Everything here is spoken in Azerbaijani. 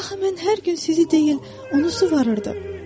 Axı mən hər gün sizi deyil, onu suvarırdım.